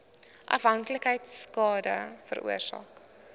afhanklikheid skade veroorsaak